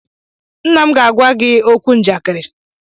Nna m ga-agwa gị okwu njakịrị.